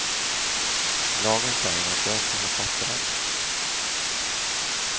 Lagen säger att jag ska ha papperen.